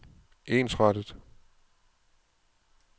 ensrettet